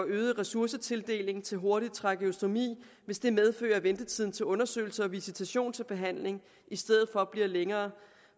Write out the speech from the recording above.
øget ressourcetildeling til hurtig trakeostomi hvis det medfører at ventetiden til undersøgelser og visitation til behandling i stedet for bliver længere